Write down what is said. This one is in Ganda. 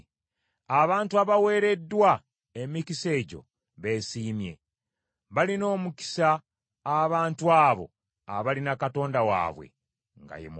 Abantu abaweereddwa emikisa egyo beesiimye! Balina omukisa abantu abo abalina Katonda waabwe nga ye Mukama .